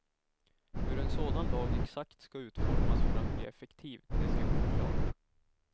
Hur en sådan lag exakt ska utformas för att bli effektiv ter sig oklart.